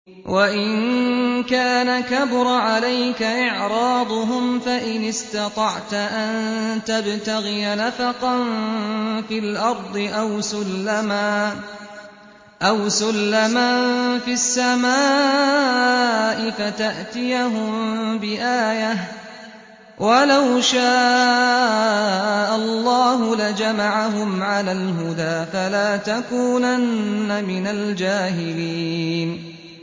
وَإِن كَانَ كَبُرَ عَلَيْكَ إِعْرَاضُهُمْ فَإِنِ اسْتَطَعْتَ أَن تَبْتَغِيَ نَفَقًا فِي الْأَرْضِ أَوْ سُلَّمًا فِي السَّمَاءِ فَتَأْتِيَهُم بِآيَةٍ ۚ وَلَوْ شَاءَ اللَّهُ لَجَمَعَهُمْ عَلَى الْهُدَىٰ ۚ فَلَا تَكُونَنَّ مِنَ الْجَاهِلِينَ